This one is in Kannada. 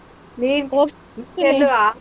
ಹೇ,